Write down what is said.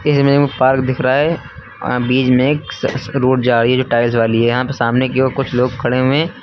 इसमें एक पार्क दिख रहा है बीच में एक स रोड जा रही है जो टाइल्स वाली है यहां पे सामने की ओर कुछ लोग खड़े हुए हैं।